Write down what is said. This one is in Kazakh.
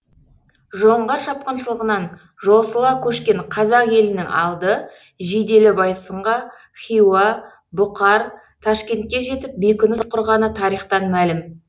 жоңғар шапқыншылығынан жосыла көшкен қазақ елінің алды жиделі байсынға хиуа бұқар ташкентке жетіп бекініс құрғаны тарихтан мәлім